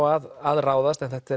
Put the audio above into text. að ráðast en þetta